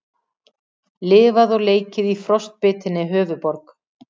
Lifað og leikið í frostbitinni höfuðborg